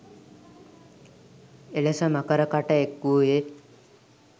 එලෙස මකර කට එක් වූයේ